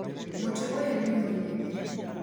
mũtĩ ũyũ nĩ mũnene.